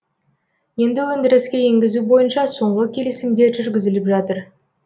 енді өндіріске енгізу бойынша соңғы келісімдер жүргізіліп жатыр